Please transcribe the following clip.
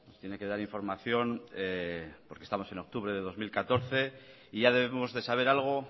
tiene que dar información porque estamos en octubre de dos mil catorce y ya debemos de saber algo